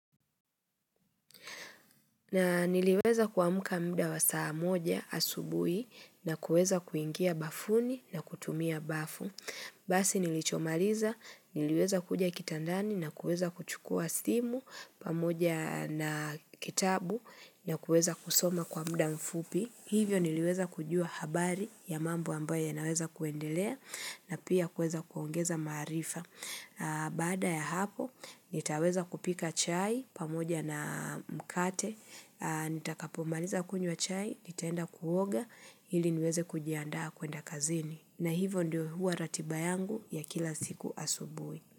Na niliweza kuamuka mda wa saa moja asubuhi na kuweza kuingia bafuni na kutumia bafu. Basi nilichomaliza, niliweza kuja kitandani na kueza kuchukua simu pamoja na kitabu na kuweza kusoma kwa mda mfupi. Hivyo niliweza kujua habari ya mambo ambaye naweza kuendelea na pia kueza kuongeza maarifa. Baada ya hapo, nitaweza kupika chai pamoja na mkate Nitakapomaliza kunywa chai, nitaenda kuoga ili niweze kujiandaa kuenda kazini na hivyo ndio huwa ratiba yangu ya kila siku asubuhi.